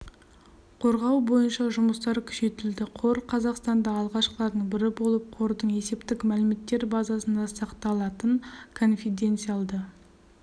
қорғау бойынша жұмыстар күшейтілді қор қазақстанда алғашқылардың бірі болып қордың есептік мәліметтер базасында сақталатын конфиденциалды